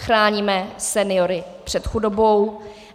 Chráníme seniory před chudobou.